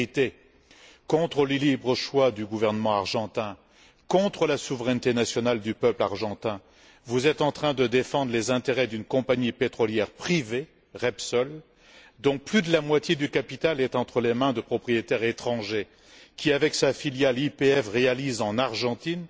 En vérité, contre le libre choix du gouvernement argentin, contre la souveraineté nationale du peuple argentin, vous êtes en train de défendre les intérêts d'une compagnie pétrolière privée, Repsol, dont plus de la moitié du capital est entre les mains de propriétaires étrangers et qui, avec sa filiale YPF, réalise en Argentine